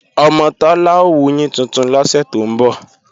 Ọmọ Tọ́lá ó wuyín tuntun lọ́sẹ̀ tó ń bọ̀